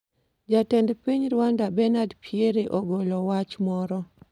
Jatend Piny Rwanda Benard Pierre ogolo wach moro